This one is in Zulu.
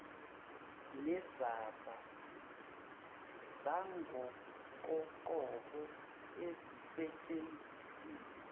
nezamba zangokoqobo ezisetshenzisiwe